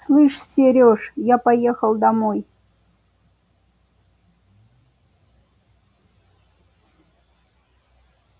слышь серёж я поехал домой